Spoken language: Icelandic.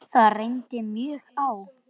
Það reyndi mjög á.